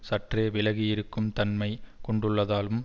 சற்றே விலகி இருக்கும் தன்மை கொண்டுள்ளதாலும்